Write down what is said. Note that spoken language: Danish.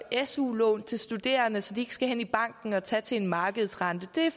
su lån til studerende så de ikke skal hen i banken og tage lån til en markedsrente